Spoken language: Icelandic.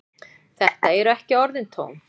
Þetta eru ekki orðin tóm.